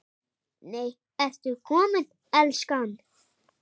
NEI, ERTU KOMIN, ELSKAN!